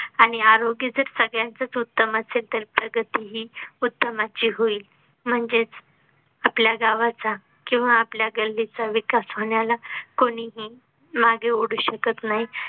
आणि आरोग्या जर सगळ्यांचच उत्तम असेल तर उत्तम असेल तर प्रगती ही उत्तमाची होईल. म्हणजेच आपल्या गावाचा किंवा आपल्या गल्लीचा विकास होण्याला कोणीही मागे ओढू शकत नाही